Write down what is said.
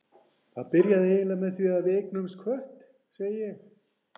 Það byrjaði eiginlega með því að við eignuðumst kött, segi ég.